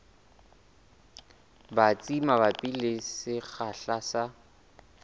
batsi mabapi le sekgahla sa